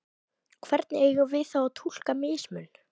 Hvernig eigum við þá að túlka mismun?